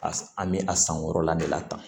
A an bɛ a san wɔɔrɔ la de la tan